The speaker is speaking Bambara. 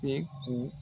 Tɛ ko